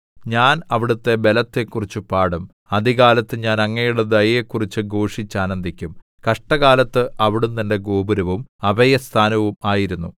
ഞാൻ അവിടുത്തെ ബലത്തെക്കുറിച്ച് പാടും അതികാലത്ത് ഞാൻ അങ്ങയുടെ ദയയെക്കുറിച്ച് ഘോഷിച്ചാനന്ദിക്കും കഷ്ടകാലത്ത് അവിടുന്ന് എന്റെ ഗോപുരവും അഭയസ്ഥാനവും ആയിരുന്നു